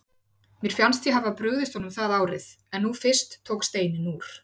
Mér fannst ég hafa brugðist honum það árið, en nú fyrst tók steininn úr.